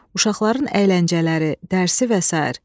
uşaqların əyləncələri, dərsi və sair.